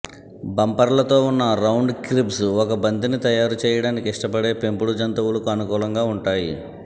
బంపర్లతో ఉన్న round cribs ఒక బంతిని తయారు చేయడానికి ఇష్టపడే పెంపుడు జంతువులకు అనుకూలంగా ఉంటాయి